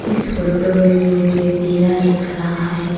इस फोटो में मुझे वीरा दिख रहा है।